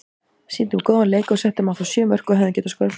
Sýndum góðan leik og settum á þá sjö mörk og hefðum getað skorað fleiri.